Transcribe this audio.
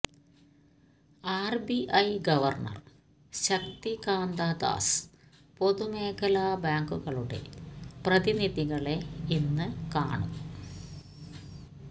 RBI governor Shaktikanta Das പൊതുമേഖലാ ബാങ്കുകളുടെ പ്രതിനിധികളെ ഇന്ന് കാണും